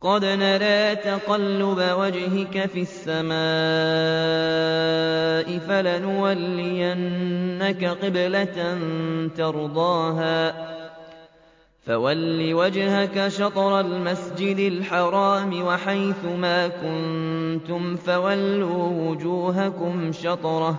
قَدْ نَرَىٰ تَقَلُّبَ وَجْهِكَ فِي السَّمَاءِ ۖ فَلَنُوَلِّيَنَّكَ قِبْلَةً تَرْضَاهَا ۚ فَوَلِّ وَجْهَكَ شَطْرَ الْمَسْجِدِ الْحَرَامِ ۚ وَحَيْثُ مَا كُنتُمْ فَوَلُّوا وُجُوهَكُمْ شَطْرَهُ ۗ